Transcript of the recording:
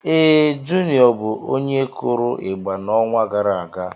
Ee, Juniọ bụ onye kụrụ ịgba n'ọnwa gara aga.